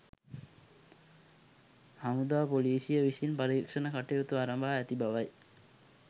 හමුදා පොලිසිය විසින් පරීක්ෂණ කටයුතු අරඹා ඇති බවයි.